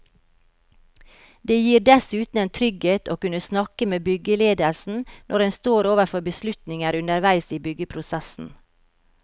Det gir dessuten en trygghet å kunne snakke med byggeledelsen når en står overfor beslutninger underveis i byggeprosessen.